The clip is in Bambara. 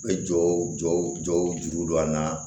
Bɛ jɔw jɔw juru don an na